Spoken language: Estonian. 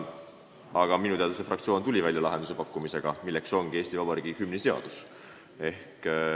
Aga minu teada tuli see fraktsioon välja lahendusega, milleks ongi Eesti Vabariigi hümni seadus.